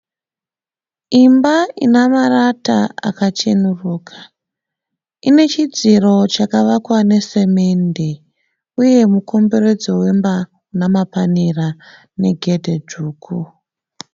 Imba ina marata akachenuruka. Ine chidziro chakavakwa nesemende uye mukomberedzo wemba namapanera negedhi dzvuku.